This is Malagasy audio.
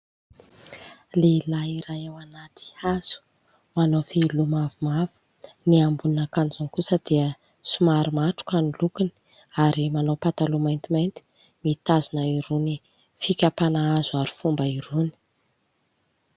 Lehilahy iray ao anaty hazo, manao fehiloha mavomavo, ny ambonin'akanjony kosa dia somary matroka ny lokony ary manao pataloha maintimainty, mitazona irony fikapana hazo harifomba irony.